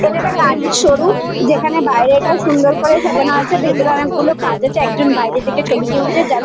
এটা একটা গাড়ির শোরুম যেখানে বাইরেটা সুন্দর করে সাজানো আছে। ভেতরে অনেক গুলো কাঁচ আছে। একজন বাইরে থেকে ছবি তুলছে। যার--